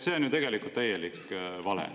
See on ju tegelikult täielik vale.